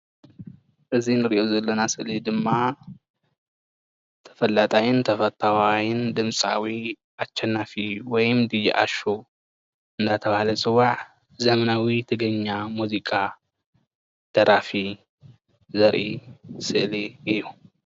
እዚ እንሪኦ ዘለና ስእሊ ድማ ተፈላጣይን ተፈታዋይን ድምፃዊ ኣሸናፊ ወይ ዲጄ ኣሹ እንዳተባሃለ ዝፅዋዕ ዘመናዊ ትግርኛ ሙዚቃ ደራፊ ዘርኢ ስእሊ እዩ፡፡